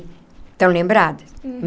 Estão lembrados?